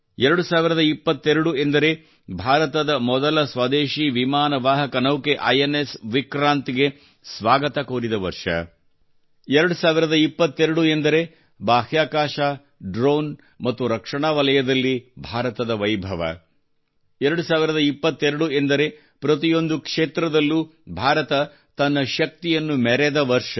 2022 ಎಂದರೆ ಭಾರತದ ಮೊದಲ ಸ್ವದೇಶಿ ವಿಮಾನವಾಹಕ ನೌಕೆ ಐ ಎನ್ ಎಸ್ ವಿಕ್ರಾಂತ್ ಗೆ ಸ್ವಾಗತ ಕೋರಿದ ವರ್ಷ 2022 ಎಂದರೆ ಬಾಹ್ಯಾಕಾಶ ಡ್ರೋನ್ ಮತ್ತು ರಕ್ಷಣಾ ವಲಯದಲ್ಲಿ ಭಾರತದ ವೈಭವ 2022 ಎಂದರೆ ಪ್ರತಿಯೊಂದು ಕ್ಷೇತ್ರದಲ್ಲೂ ಭಾರತ ತನ್ನ ಶಕ್ತಿಯನ್ನು ಮೆರೆದ ವರ್ಷ